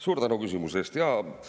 Suur tänu küsimuse eest!